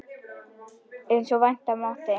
Eins og vænta mátti.